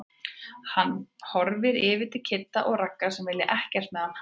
Hann horfir yfir til Kidda og Ragga sem vilja ekkert með hann hafa.